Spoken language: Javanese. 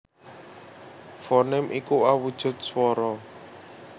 Fonèm iku awujud swara